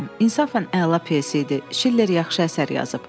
İnsafən əla pyes idi, Şiller yaxşı əsər yazıb.